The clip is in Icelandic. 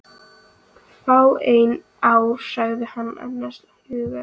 Fáein ár sagði hann annars hugar.